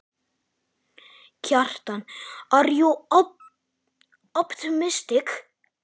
Kjartan: Ert þú bjartsýnn?